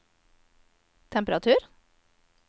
temperatur